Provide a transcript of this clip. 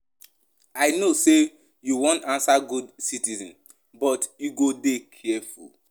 I know sey you wan answer good citizen but you go dey careful.